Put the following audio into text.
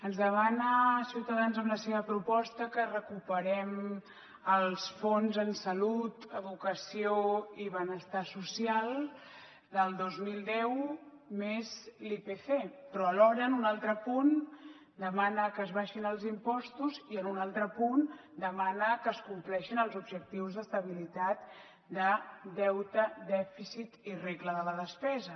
ens demana ciutadans amb la seva proposta que recuperem els fons en salut educació i benestar social del dos mil deu més l’ipc però alhora en un altre punt demana que s’abaixin els impostos i en un altre punt demana que es compleixin els objectius d’estabilitat de deute dèficit i regla de la despesa